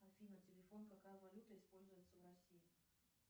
афина телефон какая валюта используется в россии